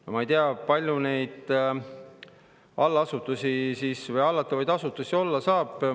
No ma ei tea, kui palju neid hallatavaid asutusi olla saab.